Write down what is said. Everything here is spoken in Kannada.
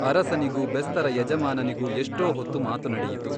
ಅರಸನಿಗೂ ಬೆಸ್ತರ ಯಜಮಾನನಿಗೂ ಎಷ್ಟೋ ಹೊತ್ತು ಮಾತು ನಡೆಯಿತು.